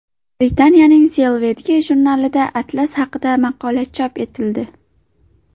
Britaniyaning Selvedge jurnalida atlas haqida maqola chop etildi.